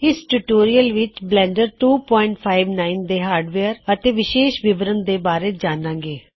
ਇਸ ਟਿਊਟੋਰਿਅਲ ਵਿਚ ਬਲੈਨਡਰ 259ਬਲੈਂਡਰ259 ਦੇ ਹਾਰਡਵੇਅਰ ਅਤੇ ਵਿਸ਼ੇਸ਼ ਵਿਵਰਨ ਬਾਰੇ ਜਾਣਾ ਗੇ